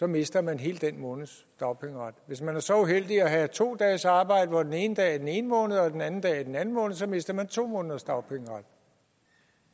mister man hele den måneds dagpengeret hvis man er så uheldig at have to dages arbejde hvor den ene dag er i den ene måned og den anden dag er i den anden måned så mister man to måneders dagpengeret